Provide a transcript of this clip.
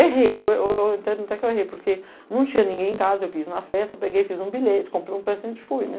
Errei, eu, eu até que eu errei, porque não tinha ninguém em casa, eu quis ir na festa, eu peguei, fiz um bilhete, comprei um presente e fui, né?